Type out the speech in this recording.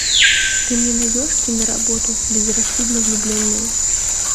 ты мне найдешь киноработу безрассудно влюбленные